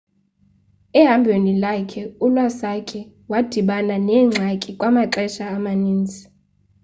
ehambhweni lwakhe u-iwasaki wadibana neengxaki kwamaxesha amaninzi